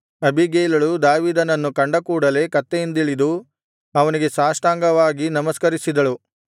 ಅಬೀಗೈಲಳು ದಾವೀದನನ್ನು ಕಂಡ ಕೂಡಲೇ ಕತ್ತೆಯಿಂದಿಳಿದು ಅವನಿಗೆ ಸಾಷ್ಟಾಂಗವಾಗಿ ನಮಸ್ಕರಿಸಿದಳು